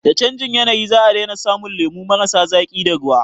Da canjin yanayi za a daina samun lemu marasa zaƙi da ruwa